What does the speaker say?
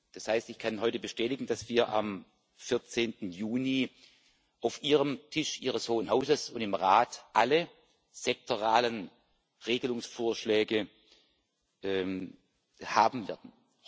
Das heißt, ich kann heute bestätigen, dass wir am 14. Juni auf dem Tisch Ihres Hohen Hauses und im Rat alle sektoralen Regelungsvorschläge haben werden.